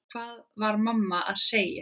Hvað var mamma að segja?